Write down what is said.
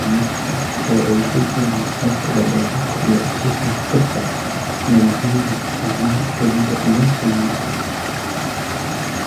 Naqshad (oo ay ku jiraan nuxurka, barbaarinta, iyo tifaftirka tignoolajiyada), isticmaal (fulinta iyo qiimaynta)